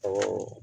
Ɔ